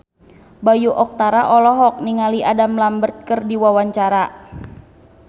Bayu Octara olohok ningali Adam Lambert keur diwawancara